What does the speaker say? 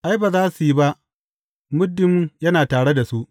Ai, ba za su yi ba, muddin yana tare da su.